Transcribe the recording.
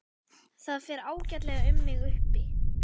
Það fer ágætlega um mig uppi.